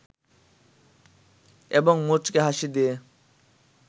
এবং মুচকি হাসি দিয়ে